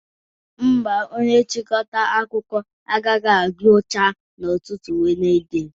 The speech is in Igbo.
Mba, onye nchịkọta akụkọ agaghị agwụcha n'ụtụtụ Wenezde